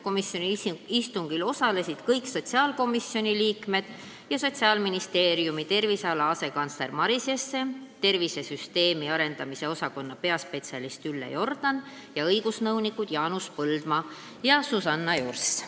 Komisjoni istungil osalesid kõik sotsiaalkomisjoni liikmed, Sotsiaalministeeriumi terviseala asekantsler Maris Jesse, tervisesüsteemi arendamise osakonna peaspetsialist Ülle Jordan ning õigusnõunikud Jaanus Põldmaa ja Susanna Jurs.